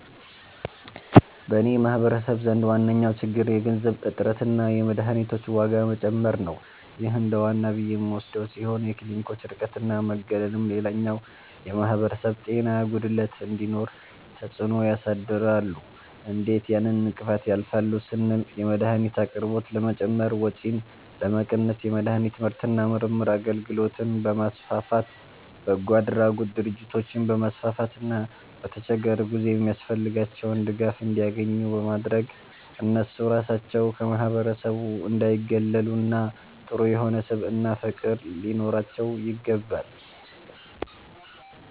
በኔ ማህበረሰብ ዘንድ ዋነኛዉ ችግር የገንዘብ እጥረትና የመድሀኒቶች ዋጋ መጨመር ነዉ ይህ እንደዋና ብዬ የምወስደዉ ሲሆን የክሊኒኮች ርቀትና መገለልም ሌላኛዉ የማህበረሰብ ጤና ጉድለት እንዲኖር ተፅእኖ ያሳድራሉ እንዴት ያን እንቅፋት ያልፋሉ ስንል 1)የመድሀኒት አቅርቦት ለመጨመር ወጪን ለመቀነስ የመድሀኒት ምርትና ምርምር አገልግሎትን በማስፋፋት፣ በጎአድራጎት ድርጅቶችን በማስፋፋትና በተቸገሩ ጊዜ የሚያስፈልጋቸዉን ድጋፍ እንዲያኙ ኙ በማድረግ እነሱ ራሳቸዉ ከማህበረሰቡ እንዳይጉላሉና ጥሩ የሆነ ስብዕናና ፍቅር ሊኖራቸዉ ይገባል።